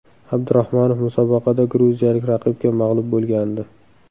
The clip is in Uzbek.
Abdurahmonov musobaqada gruziyalik raqibga mag‘lub bo‘lgandi.